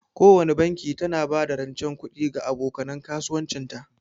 Kowana banki tana ba da rancen kuɗi ga aboka nan kasuwancin ta.